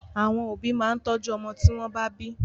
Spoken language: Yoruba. Àwọn òbí ó máa tọ́jú ọmọ tí wọ́n bá bí.